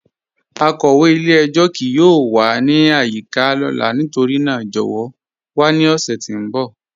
Akọwe ilẹ̀-ẹ̀jọ kíì yọọ wà ni ayika lọla nítorína jọwọ wà ni ọṣẹ ti n bọ.